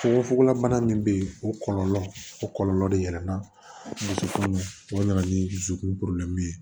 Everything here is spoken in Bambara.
Fugofugola bana min bɛ yen o kɔlɔlɔ o kɔlɔlɔ de yɛlɛnna o dusukolo o nana ni dusukun poroblɛmu ye